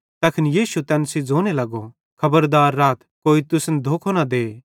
तैखन यीशु तैन सेइं ज़ोने लगो खबरदार राथ कि कोई तुसन धोखो न दे